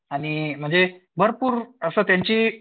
आणि म्हणजे भरपूर असं त्यांची